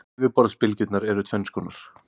Yfirborðsbylgjurnar eru tvenns konar.